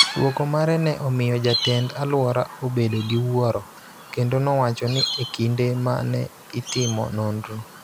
Dwoko mare ne omiyo jatend-alwora obedo gi wuoro, kendo nowacho ni e kinde ma ne itimo nonro,